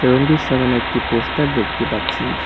দোকানটির সামোনে একটি পোস্টার দেখতে পাচ্ছি।